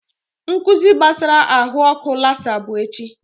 Nkụzi gbasara ahụ ọkụ lasa bụ echi